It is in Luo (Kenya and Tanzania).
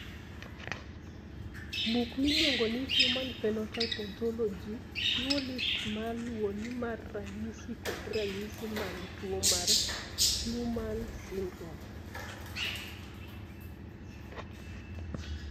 Buk miluongo ni Human Phenotype Ontology chiwo list ma luwoni mar ranyisi kod ranyisi mag tuo mar Fuhrmann syndrome.